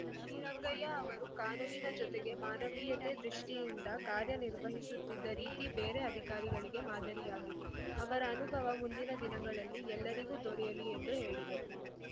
ಶ್ರೀರಂಗಯ್ಯ ಅವರು ಕಾನೂನಿನ ಜೊತೆಗೆ ಮಾನವೀಯತೆ ದೃಷ್ಟಿಯಿಂದ ಕಾರ್ಯ ನಿರ್ವಸುತ್ತಿದ್ದ ರೀತಿ ಬೇರೆ ಅಧಿಕಾರಿಗಳಿಗೆ ಮಾದರಿಯಾಗಿದೆ ಅವರ ಅನುಭವ ಮುಂದಿನ ದಿನಗಳಲ್ಲಿ ಎಲ್ಲರಿಗೂ ದೊರೆಯಲಿ ಎಂದು ಹೇಳಿದರು